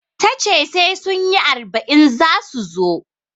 Tace sai sunyi arba'in zasu zo